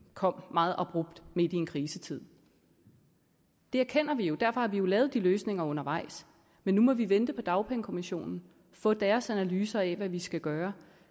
kom meget abrupt midt i en krisetid det erkender vi jo derfor har vi jo lavet de løsninger undervejs men nu må vi vente på dagpengekommissionen få deres analyser af hvad vi skal gøre